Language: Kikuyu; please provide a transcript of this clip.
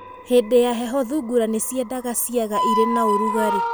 Hĩndĩ ya heho thungura nĩ ciendaga ciaga irĩ na ũrugarĩ.